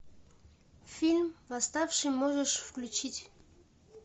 фильм восставший можешь включить